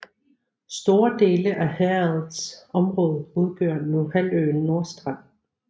Store dele af herredets område udgør nu halvøen Nordstrand